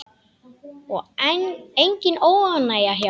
Og engin óánægja hjá henni?